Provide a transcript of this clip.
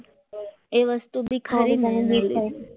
એ વસ્તુ બી ખરી ને એમ